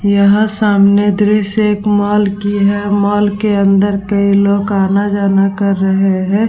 यहाँ सामने द्रश्य एक मॉल की है मॉल के अन्दर कई लोग आना-जाना कर रहे हैं।